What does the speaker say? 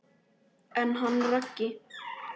En hann Raggi?